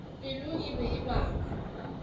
pelo e be e baba